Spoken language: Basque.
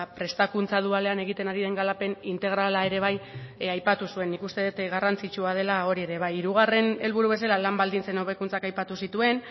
prestakuntza dualean egiten ari den garapen integrala ere bai aipatu zuen nik uste dut garrantzitsua dela hori ere bai hirugarren helburu bezala lan baldintzen hobekuntzak aipatu zituen